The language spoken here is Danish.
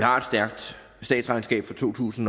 har et stærkt statsregnskab for to tusind